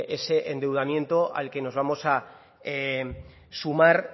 ese endeudamiento al que nos vamos a sumar